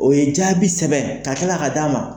O ye jaabi sɛbɛn ,ka kila ka d'a ma